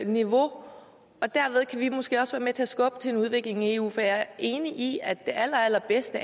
niveau og derved kan vi måske også være med til at skubbe til en udvikling i eu for jeg er enig i at det allerallerbedste